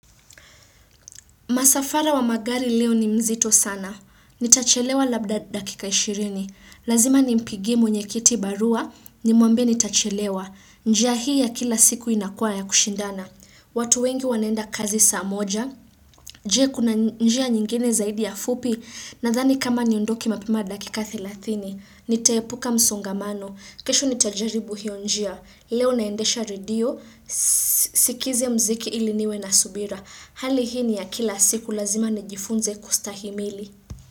Masafara wa magari leo ni mzito sana. Nitachelewa labda dakika ishirini. Lazima nimpigie mwenye kiti barua nimuambie nitachelewa. Njia hii ya kila siku inakua ya kushindana. Watu wengi wanaenda kazi saa moja. Je kuna njia nyingine zaidi ya fupi nadhani kama niondoke mapema dakika thelathini. Nitaepuka msongamano. Kesho nitajaribu hiyo njia. Leo naendesha radio sikize mziki ili niwe na subira. Hali hii ni ya kila siku lazima nijifunze kustahimili.